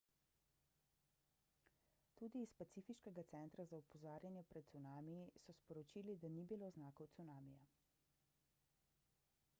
tudi iz pacifiškega centra za opozarjanje pred cunamiji so sporočili da ni bilo znakov cunamija